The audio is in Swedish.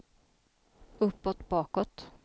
uppåt bakåt